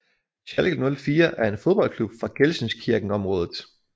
Schalke 04 er en fodboldklub fra gelsenkirchenområdet